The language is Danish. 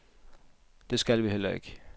Det skal vi heller ikke.